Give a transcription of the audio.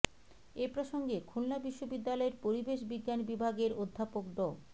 এ প্রসঙ্গে খুলনা বিশ্ববিদ্যালয়ের পরিবেশ বিজ্ঞান বিভাগের অধ্যাপক ড